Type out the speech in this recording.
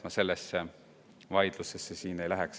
Ma sellesse vaidlusse siin ei laskuks.